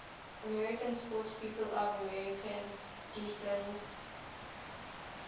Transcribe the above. american sportspeople of armenian descent